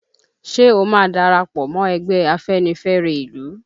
Ṣe o máa darapọ̀ mọ́ ẹgbẹ́ afẹ́nifẹ́re ìlú?